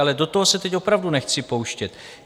Ale do toho se teď opravdu nechci pouštět.